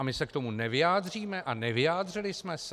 A my se k tomu nevyjádříme a nevyjádřili jsme se?